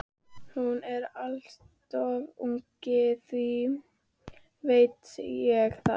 Hún er alltof ung, þú veist það.